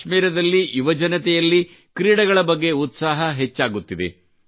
ಕಾಶ್ಮೀರದಲ್ಲಿ ಯುವಜನತೆಯಲ್ಲಿ ಕ್ರೀಡೆಗಳ ಬಗ್ಗೆ ಉತ್ಸಾಹ ಹೆಚ್ಚಾಗುತ್ತಿದೆ